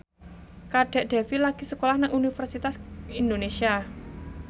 Kadek Devi lagi sekolah nang Universitas Indonesia